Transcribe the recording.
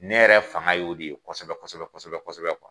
Ne yɛrɛ fanga y'o de ye kosɛbɛ kosɛbɛ kuwa.